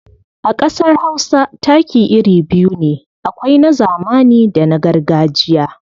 A ƙasar Hausa taki iri biyu ne, akwai na zamani da na gargajiya.